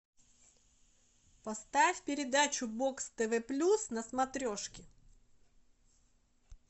поставь передачу бокс тв плюс на смотрешке